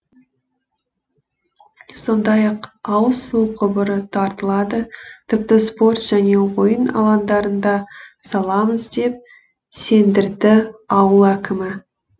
сондай ақ ауыз су құбыры тартылады тіпті спорт және ойын алаңдарын да саламыз деп сендірді ауыл әкімі